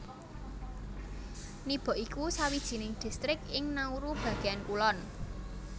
Nibok iku sawijining distrik ing Nauru bagéan kulon